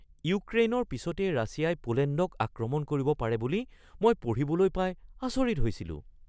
ইউক্ৰেইনৰ পিছতে ৰাছিয়াই পোলেণ্ডক আক্ৰমণ কৰিব পাৰে বুলি মই পঢ়িবলৈ পাই আচৰিত হৈছিলো।